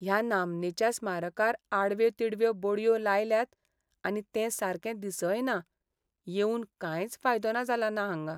ह्या नामनेच्या स्मारकार आडव्यो तिडव्यो बडयो लायल्यात आनी तें सारकें दिसय ना, येवून कांयच फायदो जालो ना हांगा.